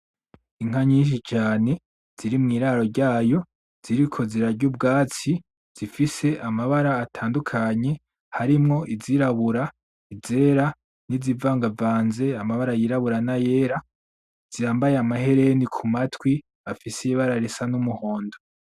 Inka nyinshi cane ziri mw'iraro ryayo ziriko zirarya ubwatsi zifise amabara atandukanye, harimwo iz'irabura , izera n'izivangavanze amabara y'irabura n'ayera , zambaye amahereni kumatwi afise ibara risa n'umuhondo.